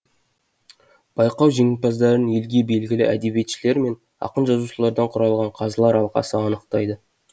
байқау жеңімпаздарын елге белгілі әдебиетшілер мен ақын жазушылардан құрылған қазылар алқасы анықтайды